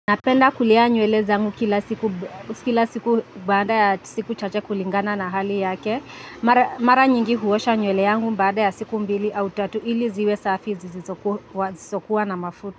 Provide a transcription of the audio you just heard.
Napenda kulea nywele zangu kila siku baada ya siku chache kulingana na hali yake. Mara nyingi huosha nywele yangu baada ya siku mbili au tatu ili ziwe safi zisizokuwa na mafuta.